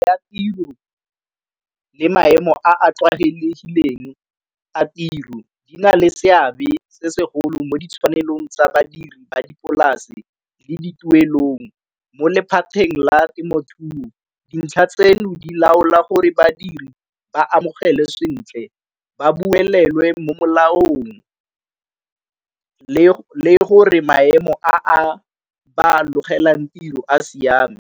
Ya tiro le maemo a a tlwaelegileng a tiro di na le seabe se segolo mo ditshwanelo tsa badiri ba dipolase le dituelong mo lephateng la temothuo. Dintlha tseno di laola gore badiri ba amogele sentle ba buelelwe mo molaong le gore maemo a a ba logelang tiro a siame.